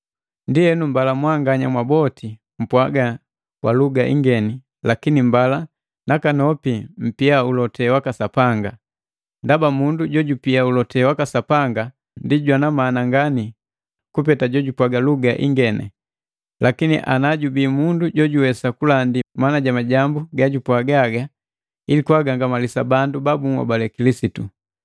Ndienu mbala mwanganya mwaboti mpwaga kwa luga ingeni lakini mbala nakanopi mpia ulote waka Sapanga. Ndaba mundu jojupia ulote waka Sapanga ndi jwana mana ngani kuliku jojupwaga luga ingeni, lakini ana jubii mundu jojuwesa kulandi maana ja majambu gajupwaga haga, ili kwaagangamalisa bandu babunhobale Kilisitu.